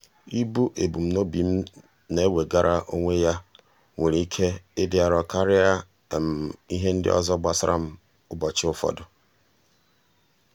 ibu ebumnobi m na-enwegara onwe m nwere ike ịdị arọ karịa ihe ndị ọzọ gbasara m ụbọchị ụfọdụ.